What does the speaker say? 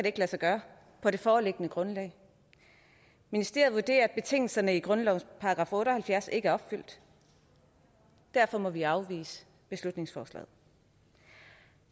ikke lade sig gøre på det foreliggende grundlag ministeriet vurderer at betingelserne i grundlovens § otte og halvfjerds ikke er opfyldt og derfor må vi afvise beslutningsforslaget